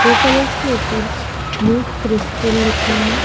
वो कलर्स के ऊपर न्यू क्रिस्टल लिखा है।